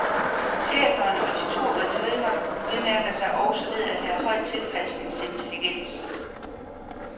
Schæferen og de to retrievere udmærker sig også ved at have høj tilpasningsintelligens.